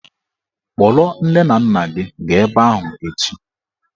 Kpọrọ nne na nna gị gaa ebe ahụ echi!